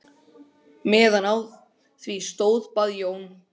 Aldrei að reyna að slípa minn ljúf, át Gunnsteinn upp.